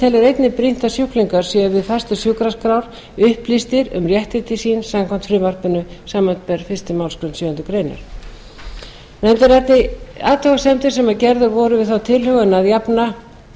einnig brýnt að sjúklingar séu við færslu sjúkraskrár upplýstir um réttindi sín samkvæmt frumvarpinu samanber fyrstu málsgrein sjöundu greinar nefndin ræddi athugasemdir sem gerðar voru við þá tilhögun að jafna